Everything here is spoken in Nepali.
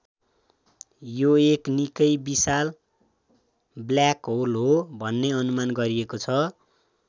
यो एक निक्कै विशाल ब्ल्याक होल हो भन्ने अनुमान गरिएको छ।